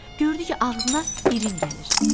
Gördü ki, ağzına irin gəlir.